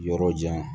Yɔrɔ jan